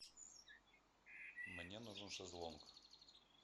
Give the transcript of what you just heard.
мне нужен шезлонг